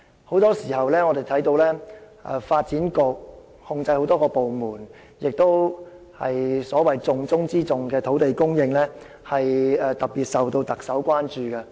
我們常常看到發展局控制很多部門，而重中之重的土地供應問題更備受特首關注。